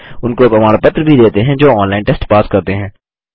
उनको प्रमाण पत्र भी देते हैं जो ऑनलाइन टेस्ट पास करते हैं